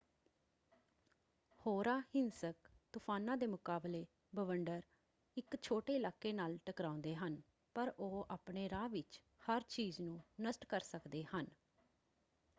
ਹੋਰਾਂ ਹਿੰਸਕ ਤੂਫਾਨਾਂ ਦੇ ਮੁਕਾਬਲੇ ਬਵੰਡਰ ਇੱਕ ਛੋਟੇ ਇਲਾਕੇ ਨਾਲ ਟਕਰਾਉਂਦੇ ਹਨ ਪਰ ਉਹ ਆਪਣੇ ਰਾਹ ਵਿੱਚ ਹਰ ਚੀਜ਼ ਨੂੰ ਨਸ਼ਟ ਕਰ ਸਕਦੇ ਹਨ।